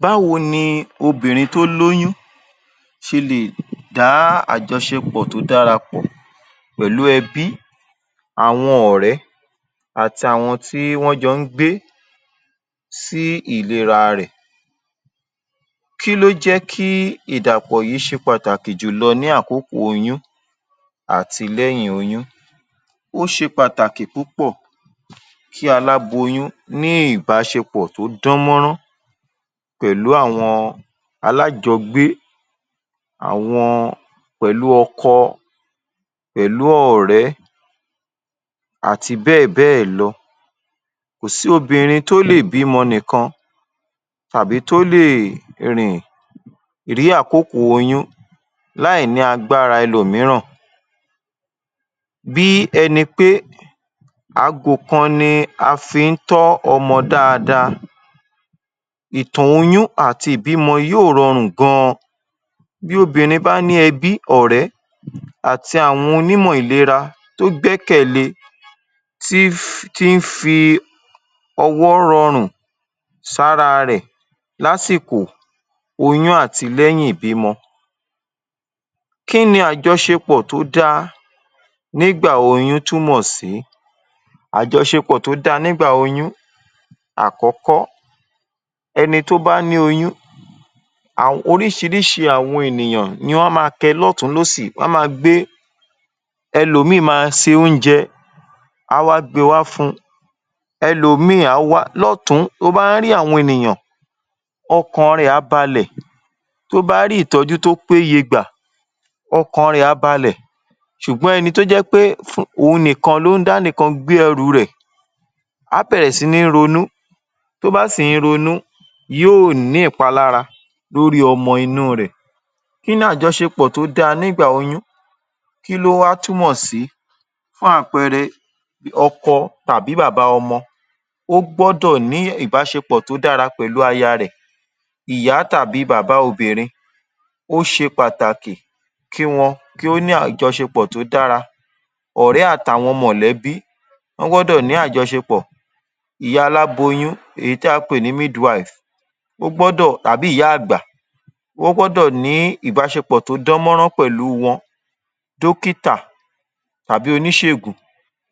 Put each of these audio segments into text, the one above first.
Báwo ni obìnrin tó lóyún ṣe lè dá àjọṣepọ̀ tó dára pọ̀ pẹ̀lú ẹbí, àwọn ọ̀rẹ́ àti àwọn tí wọ́n jọ ń gbé sí ìlera rẹ̀? Kí ló jẹ́ kí ìdàpọ̀ yìí ṣe pàtàkì jùlọ ní àkókò oyún àti lẹ́yìn oyún? Ó ṣe pàtàkì púpọ̀ kí aláboyún ní ìbáṣepọ̀ tó dán mọ́nrán pẹ̀lú àwọn alájogbé, àwọn pẹ̀lú ọkọ, pẹ̀lú ọ̀rẹ́ àti bẹ́ẹ̀ bẹ́ẹ̀ lọ. Kò si obìnrin tó lè bímọ nìkan tàí tó lè rìn ní àkókò oyún láì ní agbára ẹlòmíràn. Bí ẹni pé ago kan ni a fi ń tọ́ ọmọ dáadáa, ìtọ̀ oyún àti ìbímọ yóò rọrùn gan-an. Bí obìnrin bá ní ẹbí, ọ̀rẹ́ àti àwọn onímọ̀ ìlera tó gbẹ́kẹ̀le tí fi ọwọ́ rọrùn sára rẹ̀ lásìkò oyún àti lẹ́yìn ìbímọ. Kí ni àjọṣepọ̀ tó da nígbà oyún túmọ̀ sí? Àjọṣepọ̀ tó da nígbà oyún àkọ́kọ́ ẹni tó bá ní oyuhn oríṣiríṣi àwọn ènìyàn ní wọ́n á ma kẹ lọ́tùn-ún lósì wọ́n ma gbé ẹlòmíì máa se oúnjẹ á wá gbe wá fún un ẹlòmíì á wá lótùn-ún bó bá ń rí àwọn ènìyàn ọkàn rẹ̀ á balẹ̀ tó bá rí ìtọ́jú tó péye gbà ọkàn rẹ̀ á balẹ̀ ṣùgbọ́n ẹni tó jẹ́ pé òun nìkan ló ń dá nìkan gbé ẹrù u rẹ̀ á bẹ̀rẹ̀ sí í ronú tó bá sì ń ronú yóò ní ìpalára lórí ọmọ inú u rẹ̀. Kí ni àjọṣepọ̀ tó dára nígbà oyún? kí ló wá túmọ̀ sí? Fún àpẹẹrẹ ọkọ tàbí bàbá ọmọ ó gbọ́dọ̀ ní ìbáṣepọ̀ tó dára pẹ̀lú aya rẹ̀. Ìyá tàbí bàbá obìnrin ó ṣe pàtàkì kí wọn kí ó ní ìbáṣepọ̀ tí ó dára, ọ̀rẹ́ àt’àwọn mọ̀lẹ́bí wọ́n gbọ́dọ̀ ní àjọṣepọ̀, ìyá alaboyún èyí tí a pè ní midwife ó gbọ́dọ̀ tàbí ìyá-àgbà ó gbọ́dọ̀ ní ìbáṣepọ̀ tó dán mọ́nran pẹ̀lú u wọn dókítà tàbí oníṣègùn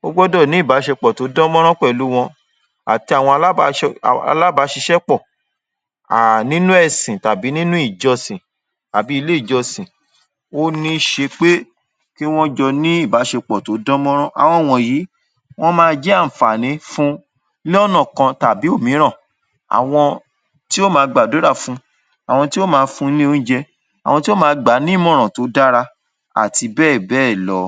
ó gbọ́dọ̀ ní ìbáṣepọ̀ tó dán mọ́nrán pẹ̀lú u wọn àti àwọn alábáṣiṣẹ́ pọ̀ um nínú ẹ̀sì tàbí nínú ìjọsìn tàbí ilé ìjọsìn. Ó ní ṣe pé kí wọ́n jọ ní ìbáṣepọ̀ tó dán mọ́nrán àwọn wọ̀nyí wọ́n ma jẹ́ àǹfàní fun lọ́nà kan tàbí òmíràn àwọn tí ó ma gbàdúrà fun, àwọn tí ó ma fun ní oúnjẹ, àwọn tí ó ma gbà á nímọ̀ràn tí ó dára àti bẹ́ẹ̀ bẹ́ẹ̀ lọ.